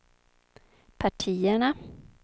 partierna